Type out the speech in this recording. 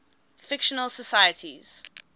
fictional socialites